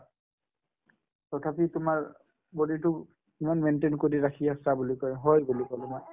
তথাপিও তোমাৰ body তো ইমান maintain কৰি ৰাখি আছা বুলি কই হয় বুলি ক'লো মই